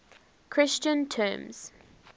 christian terms